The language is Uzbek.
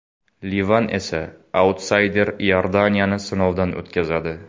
Livan esa autsayder Iordaniyani sinovdan o‘tkazadi.